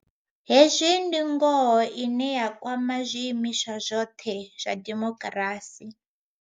Hezwi ndi ngoho ine ya kwama zwiimiswa zwoṱhe zwa dimokirasi.